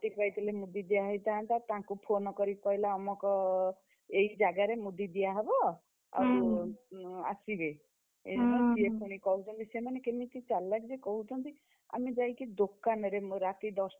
ରାତି ପାହିଥିଲେ ମୁଦି ଦିଆହେଇଥାନ୍ତା ତାଙ୍କୁ phone କରି କହିଲା ଅମକ, ଏଇ ଜାଗାରେ ମୁଦି ଦିଆହବ, ଆଉ ଆସିବେ। ସିଏ ପୁଣି କହୁଛନ୍ତି ସେମାନେ କେମିତି ଚାଲାକରେ କହୁଛନ୍ତି। ଆମେ ଯାଇକି ଦୋକାନରେ ରାତି ଦଶ,